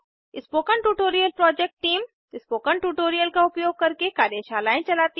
spoken tutorial project टीम160 spoken tutorial का उपयोग करके कार्यशालाएं चलती है